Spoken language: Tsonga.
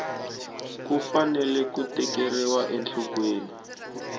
ku fanele ku tekeriwa enhlokweni